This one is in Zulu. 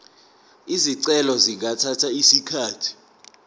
izicelo zingathatha isikhathi